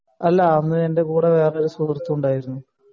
അല്ല അന്ന് എൻ്റെ കൂടെ വേറൊരു സുഹൃത് കൂടെ ഉണ്ടായിരുന്നു